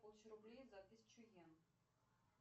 получу рублей за тысячу йен